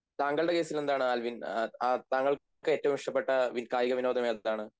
താങ്കളുടെ കേസിൽ എന്താണ് ആൽവിൻ താങ്കൾക്ക് ഏറ്റവും ഇഷ്ടപ്പെട്ട കായികവിനോദം ഏതാണ്